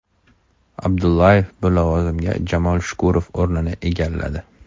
Abdullayev bu lavozimda Jamol Shukurov o‘rnini egalladi.